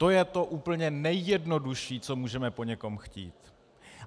To je to úplně nejjednodušší, co můžeme po někom chtít.